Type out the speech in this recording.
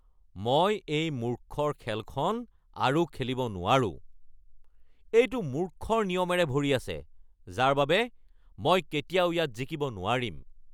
মই এই মূৰ্খৰ খেলখন আৰু খেলিব নোৱাৰো। এইটো মূৰ্খৰ নিয়মেৰে ভৰি আছে যাৰ বাবে মই কেতিয়াও ইয়াত জিকিব নোৱাৰিম।